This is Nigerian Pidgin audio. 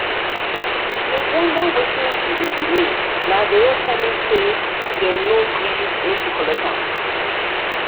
i bin dey wonder wetin be the delay na vero tell me say dem no gree make she collect am